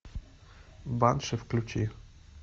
банши включи